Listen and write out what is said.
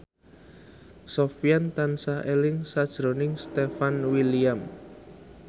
Sofyan tansah eling sakjroning Stefan William